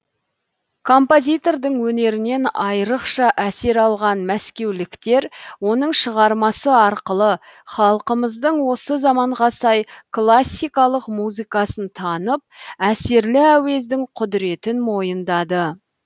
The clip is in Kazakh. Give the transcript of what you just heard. композитордың өнерінен айрықша әсер алған мәскеуліктер оның шығармасы арқылы халқымыздың осы заманға сай классикалық музыкасын танып әсерлі әуездің құдіретін мойындады